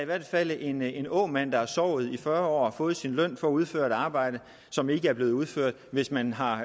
hvert fald en en åmand der har sovet i fyrre år fået sin løn for at udføre et arbejde som ikke er blevet udført hvis man har